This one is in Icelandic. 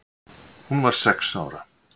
Hún var sex ára.